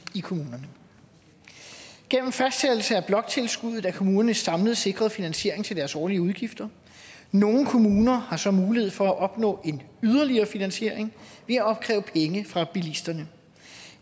i kommunerne gennem fastsættelse af bloktilskuddet er kommunerne samlet sikret finansiering til deres årlige udgifter nogle kommuner har så mulighed for at opnå en yderligere finansiering ved at opkræve penge fra bilisterne